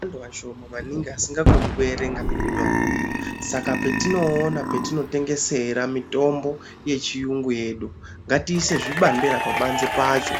Vantu vashoma maningi vasingakoni kuerenga nekunyora saka petinoona petinotengesera mitombo yechiyungu yedungatiise zvibandera pabanze pacho